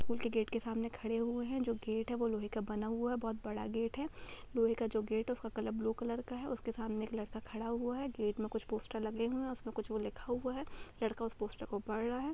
School के gate के सामने खड़े हुए हैं जो गेट हैं वह लोहे का बना हुआ है बहुत बड़ा गेट है लोहे का जो गेट है उसका कलर ब्लू कलर है उसके सामने एक लड़का खड़ा हुआ है गेट में कुछ पोस्टर लगे हुए हैं उसमें वह कुछ लिखा हुआ है लड़का उस पोस्टर को पढ़ा रहा है।